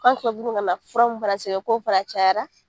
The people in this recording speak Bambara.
fura mun fana sɛbɛn k'o fana cayara